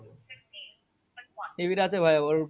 নিবিড় আছে ভাইয়া ওর